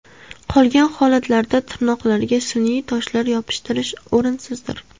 Qolgan holatlarda tirnoqlarga sun’iy toshlar yopishtirish o‘rinsizdir.